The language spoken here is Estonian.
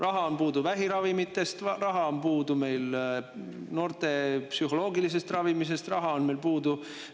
Raha on puudu, et vähiravimeid, raha on puudu, et noortele psühholoogilist ravi, raha on meil puudu …